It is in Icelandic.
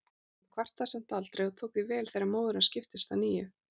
Hann kvartaði samt aldrei og tók því vel þegar móðir hans giftist að nýju.